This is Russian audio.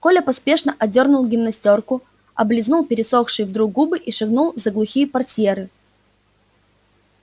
коля поспешно одёрнул гимнастёрку облизнул пересохшие вдруг губы и шагнул за глухие портьеры